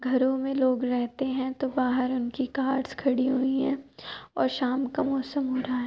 घरो में लोग रहते हैं तो बाहर उनकी कार्स खड़ी हुई हैं और शाम का मौसम हो रहा है।